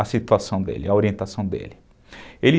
a situação dele, a orientação dele.